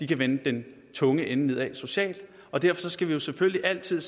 kan vende den tunge ende nedad socialt derfor skal man selvfølgelig altid